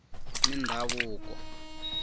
mindhavuko